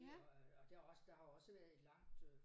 Det øh og og der også der har jo også været et langt øh